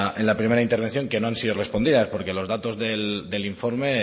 en la primera intervención que no han sido respondida porque los datos del informe